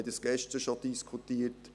Wir haben dies gestern schon diskutiert.